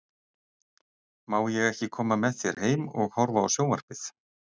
Má ég ekki koma með þér heim og horfa á sjón- varpið?